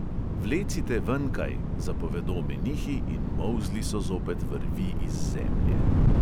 "Vlecite venkaj!" zapovedo menihi, in molzli so zopet vrvi iz zemlje.